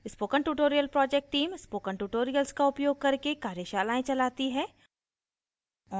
spoken tutorial project team spoken tutorials का उपयोग करके कार्यशालाएं चलाती है